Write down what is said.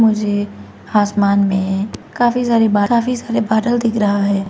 मुझे आसमान में काफी सारे बा काफ़ी सारे बादल दिख रहा है।